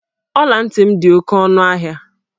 Ọla ntị m dị oke ọnụ ahịa.